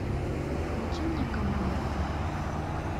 включи мне команда а